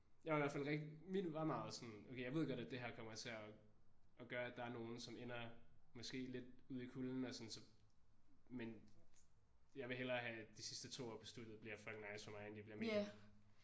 Jeg er i hvert fald rigtig mit var meget sådan okay jeg ved godt at det her kommer til at gøre at der er nogen ender måske lidt ude i kulden og sådan så men jeg vil hellere have at de sidste to år på studiet bliver fucking nice for mig end de bliver mega